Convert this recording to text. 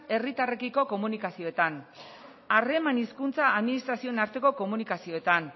herritarrekiko komunikazioetan harreman hizkuntza administrazioen arteko komunikazioetan